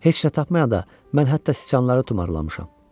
Heç nə tapmayanda mən hətta siçanları tumarlamışam.